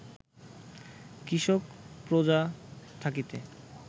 কৃষক প্রজা থাকিতে